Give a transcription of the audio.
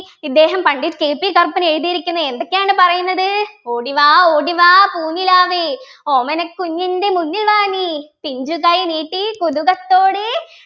ഇദ്ദേഹം പണ്ഡിറ്റ് KP കറുപ്പൻ എഴുതിയിരിക്കുന്നത് എന്തൊക്കെയാണ് പറയുന്നത് ഓടിവാ ഓടിവാ പൂനിലാവേ ഓമനക്കുഞ്ഞിൻ്റെ മുന്നിൽ വാ നീ പിഞ്ചുകൈ നീട്ടിക്കുതുകത്തോടെ